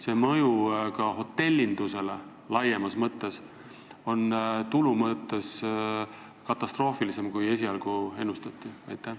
Kas mõju ka hotellindusele laiemalt on tulu mõttes katastroofilisem, kui esialgu ennustati?